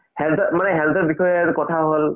health ৰ মানে health ৰ বিষয়ে কথা হল